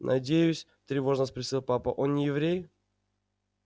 надеюсь тревожно спросил папа он не еврей